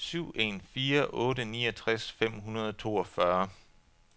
syv en fire otte niogtres fem hundrede og toogfyrre